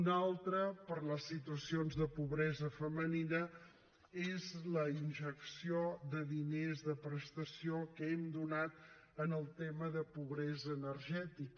una altra per a les situacions de pobresa femenina és la injecció de diners de prestació que hem donat en el tema de pobresa energètica